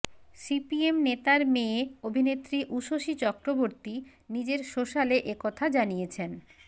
CPM নেতার মেয়ে অভিনেত্রী উষসী চক্রবর্তী নিজের সোশ্যালে একথা জানিয়েছেন